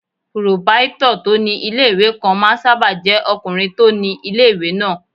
Pòròpáítọ̀ tó ní ilé-ìwé kan máà ń sáábà jẹ́ ọkùnrin tó ni ilé-ìwé náà